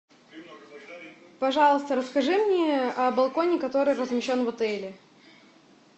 пожалуйста расскажи мне о балконе который размещен в отеле